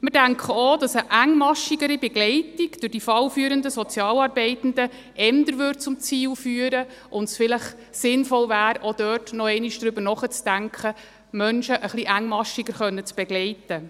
Wir denken auch, dass eine engmaschigere Begleitung durch die fallführenden Sozialarbeitenden eher zum Ziel führte und es vielleicht sinnvoll wäre, auch noch einmal darüber nachzudenken, Menschen etwas engmaschiger begleiten zu können.